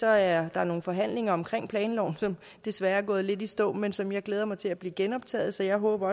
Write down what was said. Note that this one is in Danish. er der nogle forhandlinger om planloven som desværre er gået lidt i stå men som jeg glæder mig til bliver genoptaget så jeg håber